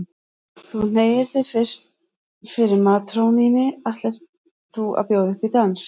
Þú hneigir þig fyrst fyrir matrónunni ætlir þú að bjóða upp í dans.